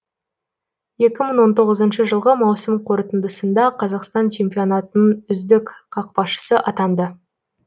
екі мың он тоғызыншы жылғы маусым қорытындысында қазақстан чемпионатының үздік қақпашысы атанды